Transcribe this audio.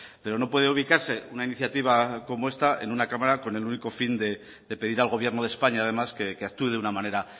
pero no puede ubicarse una iniciativa como esta en una cámara con el único fin de pedir al gobierno de españa además que actúe de una manera